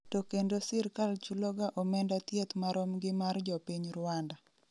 to kendo sirkal chuloga omenda thieth marom gi mar jopiny Ruanda